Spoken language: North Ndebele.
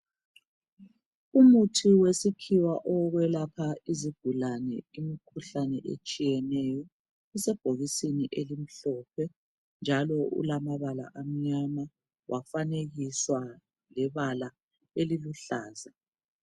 Umuthi wesikhiwa owokwela izigulane imikhuhlane etshiyeneyo. Isebhokisini elimhlophe njalo ulamabala amnyama, wafanekiswa lebala eliluhlaza.